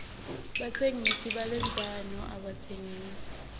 batsengisi balendzano abatsengisi